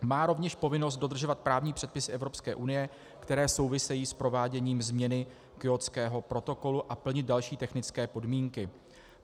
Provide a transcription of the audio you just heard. Má rovněž povinnost dodržovat právní předpisy Evropské unie, které souvisejí s prováděním změny Kjótského protokolu, a plnit další technické podmínky.